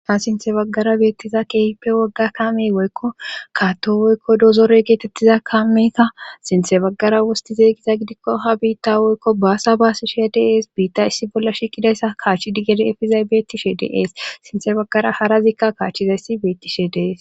Ta sinthe baggara beettiza keefippe wogga kaame woykko kaatto woykko dozorey geetettiza kaameeta sinthe baggara wosti zeeygiza gidikko ha biitta woykko baasa baasishe dees biitta issi bolla shiqidayssa kaachi di gede efizaybeetishe dees sinthe baggara hara ziikka kaachchizayssi beettishe dees.